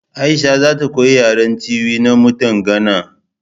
Aisha za ta koyi yaren Tiwi na mutan Gana